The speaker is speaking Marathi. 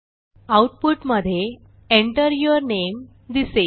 आऊटपुटमधे Enter यूर नामे दिसेल